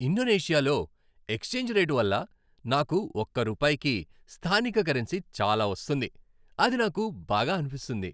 ఇండోనేషియాలో exchange rate వల్ల నాకు ఒక రూపాయికి స్థానిక కరెన్సీ చాలా వస్తుంది, అది నాకు బాగా అనిపిస్తుంది.